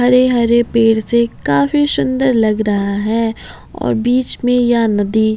हरे हरे पेड़ से काफी सुंदर लग रहा है और बीच में यह नदी--